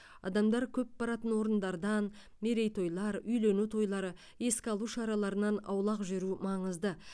адамдар көп баратын орындардан мерейтойлар үйлену тойлары еске алу шараларынан аулақ жүру маңызды